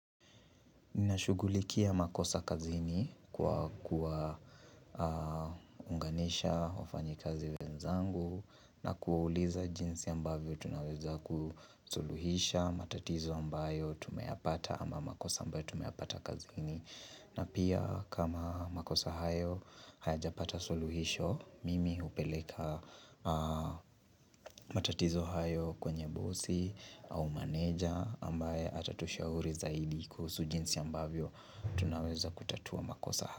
Ninashugulikia makosa kazini kwa kuwaunganisha wafanyikazi wenzangu na kuwauliza jinsi ambavyo tunaweza kusuluhisha matatizo ambayo tumeyapata ama makosa ambayo tumeyapata kazini. Na pia kama makosa hayo, hayajapata suluhisho, mimi hupeleka matatizo hayo kwenye bosi au manager ambaye atatushauri zaidi kuhusu jinsi ambavyo tunaweza kutatua makosa hayo.